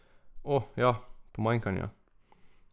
O, ja, pomanjkanja.